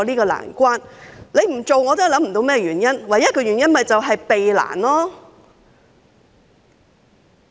局長不這樣做，我也想不到原因，唯一的原因便是避難。